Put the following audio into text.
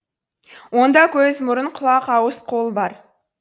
онда көз мұрын құлақ ауыз қол бар